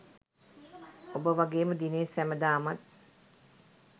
ඔබ වගේම දිනේෂ් සැමදාමත්